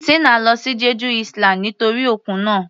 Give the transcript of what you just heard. Tina lọ sí Jeju island nítorí òkun náà.